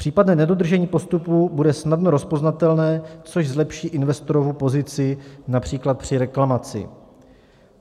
Případné nedodržení postupů bude snadno rozpoznatelné, což zlepší investorovu pozici například při reklamaci.